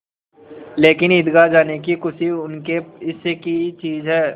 लेकिन ईदगाह जाने की खुशी उनके हिस्से की चीज़ है